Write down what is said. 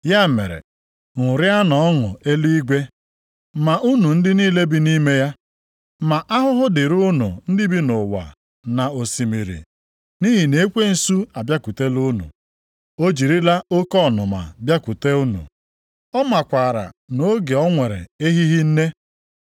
Ya mere, ṅụrịanụ ọṅụ eluigwe ma unu ndị niile bi nʼime ya. Ma ahụhụ dịrị unu ndị bi nʼụwa na osimiri nʼihi na ekwensu abịakwutela unu. O jirila oke ọnụma bịakwute unu. Ọ makwaara na oge a o nwere ehighị nne.”